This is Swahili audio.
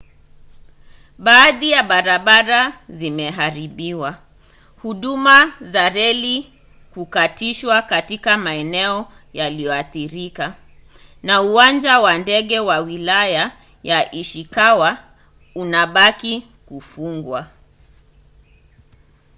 baadhi ya barabara zimeharibiwa huduma za reli kukatishwa katika maeneo yaliyoathirika na uwanja wa ndege wa wilaya ya ishikawa unabaki kufungwa